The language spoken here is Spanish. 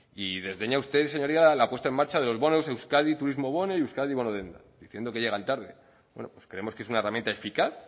y desdeña usted señoría la puesta en marcha de los bonos euskadi turismo bono y euskadi bonodendak diciendo que llegan tarde bueno pues creemos que es una herramienta eficaz